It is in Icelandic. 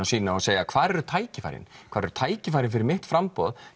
sína og segja hvar eru tækifærin hvar eru tækifærin fyrir mitt framboð